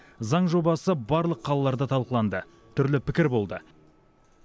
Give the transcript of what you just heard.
заң жобасы барлық қалаларда талқыланды түрлі пікір болды